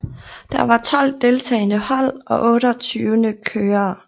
Der var tolv deltagende hold og otteogtyvende kørere